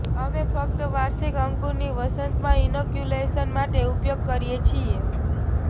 અમે ફક્ત વાર્ષિક અંકુરની વસંતમાં ઇનોક્યુલેશન માટે ઉપયોગ કરીએ છીએ